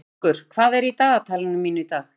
Haukur, hvað er í dagatalinu mínu í dag?